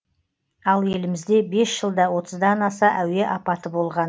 ал елімізде бес жылда отыздан аса әуе апаты болған